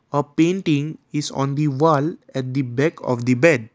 a painting is on the wall at the back of the bed.